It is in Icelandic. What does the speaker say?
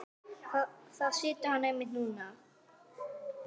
Þar situr hann einmitt núna.